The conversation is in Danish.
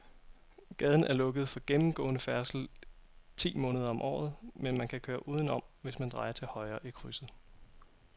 Gaden er lukket for gennemgående færdsel ti måneder om året, men man kan køre udenom, hvis man drejer til højre i krydset.